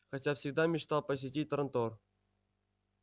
хотя всегда мечтал посетить трантор